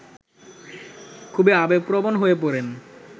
খুবই আবেগপ্রবণ হয়ে পড়েন